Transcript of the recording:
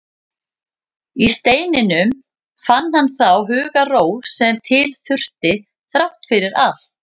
Í steininum fann hann þá hugarró sem til þurfti, þrátt fyrir allt.